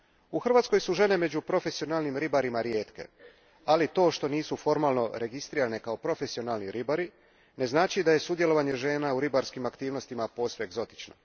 U Hrvatskoj su žene među profesionalnim ribarima rijetke, ali to što nisu formalno registrirane kao profesionalni ribari ne znači da je sudjelovanje žena u ribarskim aktivnostima posve egzotično.